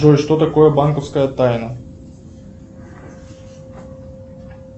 джой что такое банковская тайна